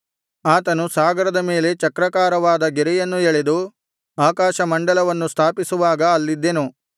ಆತನು ಸಾಗರದ ಮೇಲೆ ಚಕ್ರಾಕಾರವಾದ ಗೆರೆಯನ್ನು ಎಳೆದು ಆಕಾಶಮಂಡಲವನ್ನು ಸ್ಥಾಪಿಸುವಾಗ ಅಲ್ಲಿದ್ದೆನು